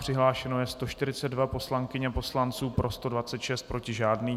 Přihlášeno je 142 poslankyň a poslanců, pro 126, proti žádný.